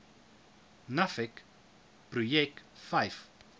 nuffic projek vyf